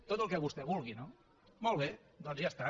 tot el que vostè vulgui no molt bé doncs ja està